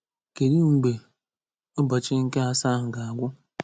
Kedụ mgbe ụbọchị nke asaa ahụ ga-agwụ?